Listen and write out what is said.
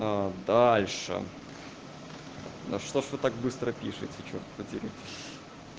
дальше да что же вы так быстро пишите чёрт побери